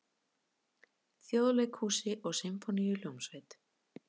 Þjóðleikhúsi og Sinfóníuhljómsveit.